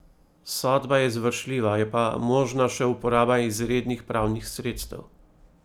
Sodba je izvršljiva, je pa možna še uporaba izrednih pravnih sredstev.